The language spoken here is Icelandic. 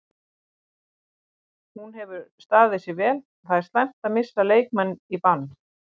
Hún hefur staðið sig vel, það er slæmt að missa leikmenn í bann.